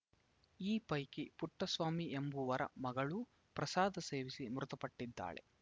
ಈ ಪೈಕಿ ಪುಟ್ಟಸ್ವಾಮಿ ಎಂಬುವರ ಮಗಳೂ ಪ್ರಸಾದ ಸೇವಿಸಿ ಮೃತಪಟ್ಟಿದ್ದಾಳೆ